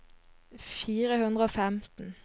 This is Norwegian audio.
fire hundre og femten